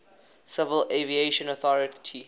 civil aviation authority